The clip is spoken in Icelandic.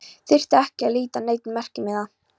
Þyrfti ekki að líta á neinn merkimiða.